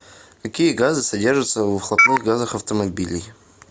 какие газы содержатся в выхлопных газах автомобилей